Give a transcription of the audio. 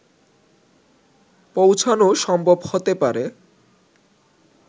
পৌঁছানো সম্ভব হতে পারে